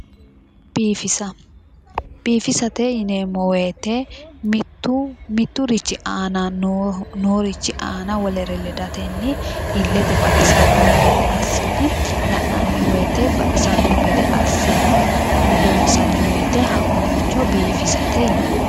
Biifisa ,biifisate yineemmo woyte ,mitu miturichi aanani noorichi aana wolere ledatenni ilete baxisano gede assine la'nanni woyte baxisano gede assine lonsanni woyte hakkoericho biifisate yinnanni